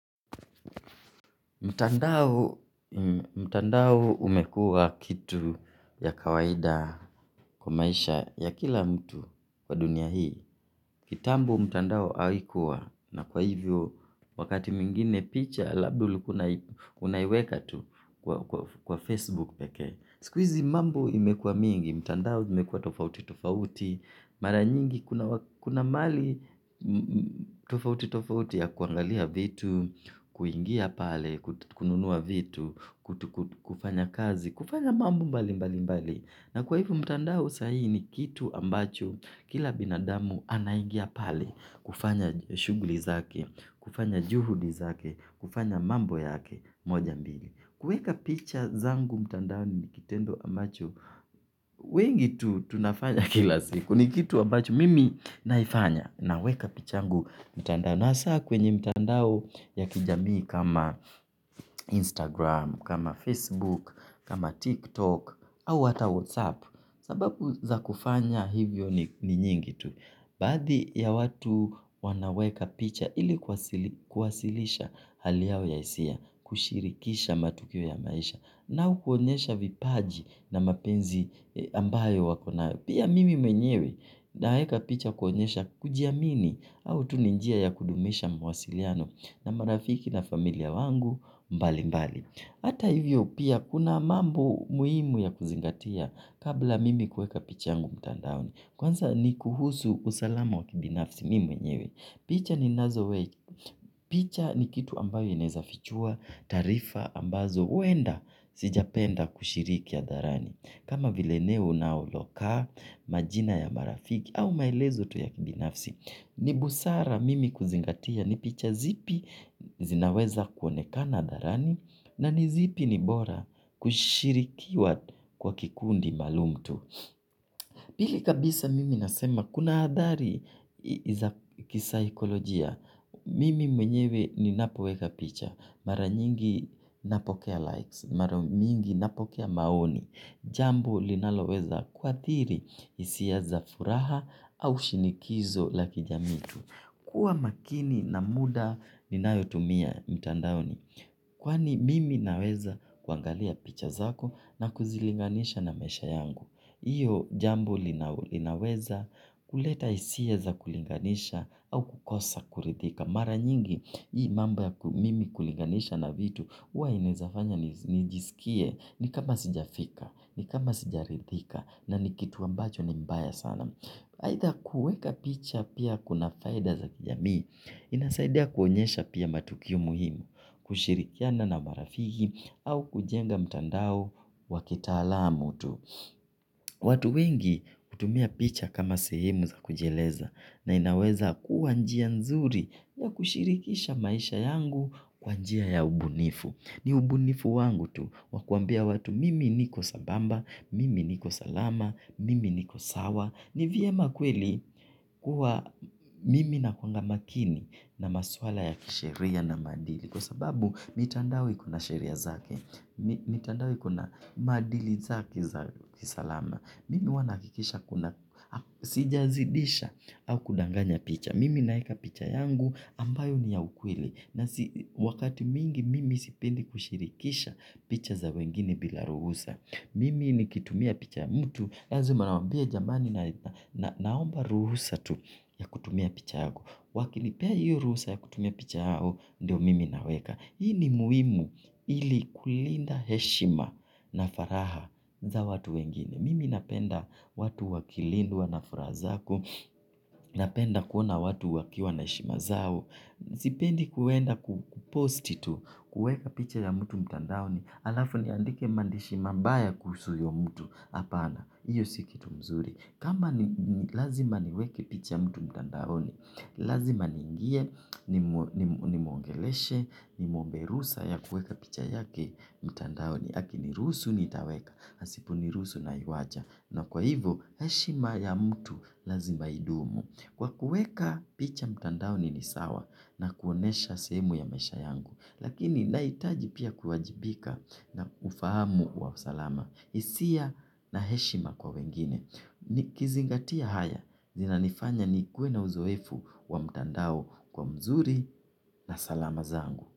Mtandao umekua kitu ya kawaida kwa maisha ya kila mtu kwa dunia hii. Kitambo mtandao haikuwa na kwa hivyo wakati mwingine picha labda ulikuwa unaiweka tu kwa Facebook pekee. Siku hizi mambo imekua mingi, mtandao imekua tofauti tofauti. Mara nyingi kuna mali tofauti tofauti ya kuangalia vitu, kuingia pale, kununua vitu, kufanya kazi, kufanya mambo mbali mbali mbali. Na kwa hivo mtandao sahi ni kitu ambacho kila binadamu anaingia pale kufanya shugli zake, kufanya juhudi zake, kufanya mambo yake moja mbili. Kuweka picha zangu mtandao ni kitendo ambacho wengi tu tunafanya kila siku. Ni kitu ambacho mimi naifanya. Naweka picha yangu mtandao. Na hasa kwenye mtandao ya kijamii kama Instagram. Kama Facebook, kama TikTok Au hata Whatsapp. Sababu za kufanya hivyo ni nyingi tu. Baadhi ya watu wanaweka picha. Ili kuwasilisha hali yao ya hisia kushirikisha matukio ya maisha nao kuonyesha vipaji na mapenzi ambayo wako nayo pia mimi mwenyewe naeka picha kuonyesha kujiamini au tu ni njia ya kudumisha mawasiliano na marafiki na familia wangu mbali mbali ata hivyo pia kuna mambo muhimu ya kuzingatia kabla mimi kueka picha yangu mtandaoni kwanza ni kuhusu usalama wa kibinafsi mimi mwenyewe picha ninazowe picha ni kitu ambayo inaeza fichua taarifa ambazo huenda sijapenda kushiriki hadharani kama vile eneo unalokaa majina ya marafiki au maelezo tu ya kibinafsi ni busara mimi kuzingatia ni picha zipi zinaweza kuonekana hadharani na ni zipi ni bora kushirikiwa kwa kikundi maalum tu. Pili kabisa mimi nasema kuna athari za kisaikolojia mimi mwenyewe ninapoweka picha. Mara nyingi napokea likes. Mara mingi napokea maoni. Jambuo linaloweza kuathiri hisia za furaha au shinikizo la kijamii tu. Kuwa makini na muda ninayotumia mtandaoni. Kwani mimi naweza kuangalia picha zako na kuzilinganisha na maisha yangu. Hiyo jambo linaweza kuleta hisia za kulinganisha au kukosa kuridhika. Mara nyingi, hii mambo ya mimi kulinganisha na vitu, huwa inaeza fanya nijisikie ni kama sijafika, ni kama sijaridhika, na ni kitu ambacho ni mbaya sana. Aidha kuweka picha pia kuna faida za kijamii, inasaidia kuonyesha pia matukio muhimu, kushirikiana na marafiki, au kujenga mtandao wa kitaalamu tu. Watu wengi hutumia picha kama sehemu za kujieleza. Na inaweza kuwa njia nzuri ya kushirikisha maisha yangu kwa njia ya ubunifu. Ni ubunifu wangu tu wa kuambia watu mimi niko sambamba, mimi niko salama, mimi niko sawa. Ni vyema kweli kuwa mimi nakuanga makini na maswala ya kisheria na maadili. Kwa sababu mitandao ikona sheria zake. Mitandao ikona maadili zake za kisalama. Mimi huwa nahakikisha kuna sijazidisha au kudanganya picha. Mimi naeka picha yangu ambayo ni ya ukweli. Na wakati mingi mimi sipendi kushirikisha picha za wengine bila ruhusa. Mimi nikitumia picha ya mtu lazima nawaambia jamani na naomba ruhusa tu ya kutumia picha yako. Wakinipea hiyo ruhusa ya kutumia picha yao, ndio mimi naweka. Hii ni muhimu ili kulinda heshima na faragha za watu wengine. Mimi napenda watu wakilindwa na furaha zako. Napenda kuona watu wakiwa na heshima zao. Sipendi kuenda kuposti tu, kueka picha ya mtu mtandaoni. Alafu niandike maandishi mabaya kuhusu huyo mtu hapana hiyo si kitu mzuri. Kama ni lazima niweke picha ya mtu mtandaoni. Lazima niingie, nimwongeleshe, nimwombe ruhusa ya kueka picha yake mtandaoni. Hakiniruhusu nitaweka, asiponiruhusu naiwacha. Na kwa hivo, heshima ya mtu lazima idumu. Kwa kueka picha mtandaoni ni sawa na kuonyesha sehemu ya maisha yangu. Lakini nahitaji pia kuwajibika na ufahamu wa usalama hisia na heshima kwa wengine. Nikizingatia haya zinanifanya nikuwe na uzoefu wa mtandao kwa mzuri na salama zangu.